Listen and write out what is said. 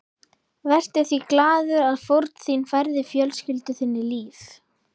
Vertu því glaður að fórn þín færði fjölskyldu þinni líf.